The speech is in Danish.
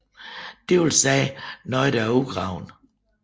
Det vil sige noget der er udgravet